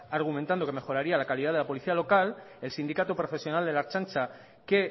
argumentando que mejoraría la calidad de la policía local el sindicato profesional de la ertzaintza que